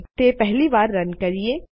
ચાલો તે પહેલી વાર રન કરીએ